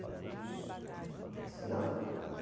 Eu disse não.